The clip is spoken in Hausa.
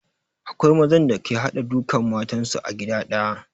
Akwai mazan da ke haɗa duka matan su a gida ɗaya